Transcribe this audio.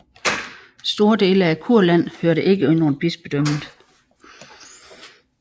Store dele af Kurland hørte ikke under bispedømmet